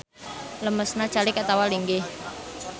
Lemesna calik atawa linggih.